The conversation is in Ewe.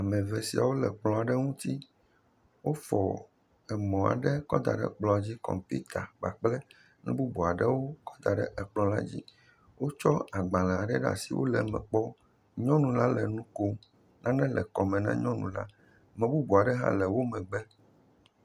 Ame eve siawo le kplɔ aɖe ŋuti. Wofɔ emɔ aɖe kɔ da ɖe kplɔ dzi. Kɔmpita kpakple nu bubu aɖewo kɔ da ɖe ekplɔ la dzi. Wotsɔ agbale aɖe ɖe asi wo le eme kpɔm. Nyɔnu la le nu kom. Nane le kɔme na nyɔnua la. Ame bubu aɖe hã le wo megbe.